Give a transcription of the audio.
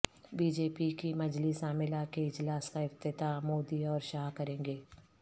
be J P کی مجلس عاملہ کے اجلاس کا افتتاح مودی اور شاہ کریں گے